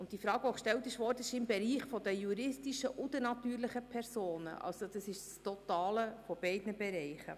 Zu der zuvor gestellten Frage: Diese Personen sind im Bereich der natürlichen und juristischen Personen, es ist also das Total aus beiden Bereichen.